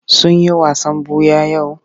Sun yi wasan ɓuya yau?